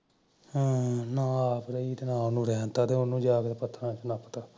ਹਮ ਨਾ ਆਪ ਰਹੀ ਨਾ ਓਹਨੂ ਰੈਣਿ ਦਿੱਤਾ ਤੇ ਓਹਨੂ ਜਾਂ ਕ ਪਤਤਹਰਾਂ ਚ ਨੱਪ ਤਾਂ